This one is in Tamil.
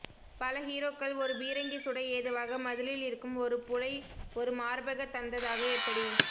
பல ஹீரோக்கள் ஒரு பீரங்கி சுட ஏதுவாக மதிலில் இருக்கும் புழை ஒரு மார்பக தந்ததாக எப்படி